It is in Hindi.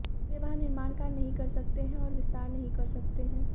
वे वहां निर्माण कार्य नहीं कर सकते हैं और विस्तार नहीं कर सकते हैं